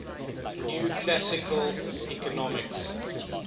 new classical economics